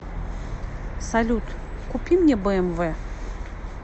салют купи мне бмв